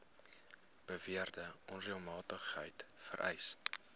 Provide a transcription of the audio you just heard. beweerde onreëlmatigheid vereis